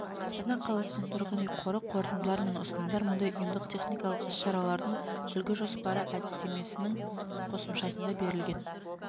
астана қаласының тұрғын үй қоры қорытындылар мен ұсынымдар мұндай ұйымдық-техникалық іс-шаралардың үлгі жоспары әдістеменің қосымшасында берілген